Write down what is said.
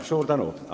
Suur tänu!